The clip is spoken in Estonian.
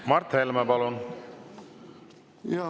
Mart Helme, palun!